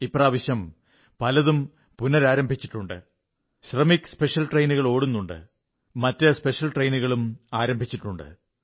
ഇപ്രാവശ്യം പലതും പുനരാരംഭിച്ചിട്ടുണ്ട് ശ്രമിക് സ്പെഷ്യൽ ട്രെയിനുകൾ ഓടുന്നുണ്ട് മറ്റു സ്പെഷ്യൽ ട്രെയിനുകളും ആരംഭിച്ചിട്ടുണ്ട്